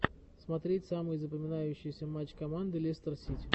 смотреть самые запоминающиеся матч команды лестер сити